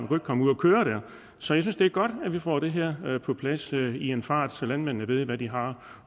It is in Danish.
kunne komme ud at køre så jeg synes det er godt at vi får det her på plads i en fart så landmændene ved hvad de har